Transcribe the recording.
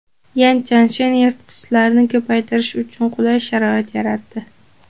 Yan Chanshen yirtqichlarni ko‘paytirish uchun qulay sharoitni yaratdi.